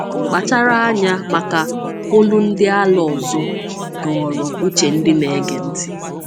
“Kpachara Anya Maka ‘Olu Ndị Ala Ọzọ’” dọọrọ uche ndị na-ege ntị.